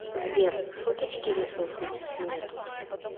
сбер шуточки решил шутить мне тут